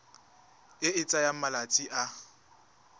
e e tsayang malatsi a